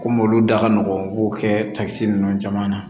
Komi olu da ka nɔgɔn n'o kɛ takisi ninnu caman na